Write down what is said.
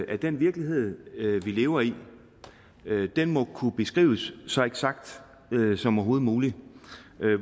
at den virkelighed vi lever i må kunne beskrives så eksakt som overhovedet muligt